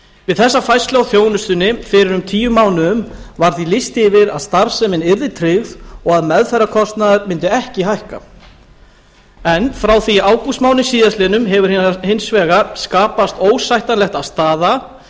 við þessa færslu á þjónustunni fyrir um tíu mánuðum var því lýst yfir að starfsemin yrði tryggð og að meðferðarkostnaður mundi ekki hækka en frá því í ágústmánuði síðastliðnum hefur hins vegar skapast óásættanleg staða